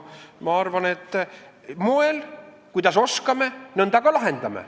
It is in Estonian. Ma arvan, et kuidas me oskame, nõnda me neid ka lahendame.